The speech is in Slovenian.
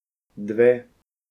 Dve.